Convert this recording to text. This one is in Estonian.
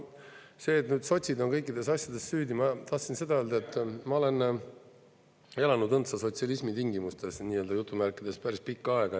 No see, et sotsid on kõikides asjades süüdi – ma tahtsin seda öelda, et ma olen elanud "õndsa sotsialismi tingimustes" päris pikka aega.